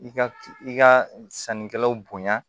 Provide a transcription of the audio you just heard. I ka i ka sannikɛlaw bonya